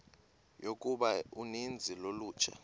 yokuba uninzi lolutsha